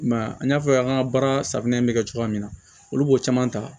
I m'a ye an y'a fɔ y'an ka baara safunɛ bɛ kɛ cogoya min na olu b'o caman ta